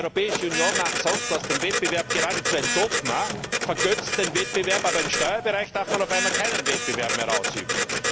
Die Europäische Union macht sonst aus dem Wettbewerb geradezu ein Dogma, vergötzt den Wettbewerb, aber im Steuerbereich darf man auf einmal keinen Wettbewerb mehr ausüben.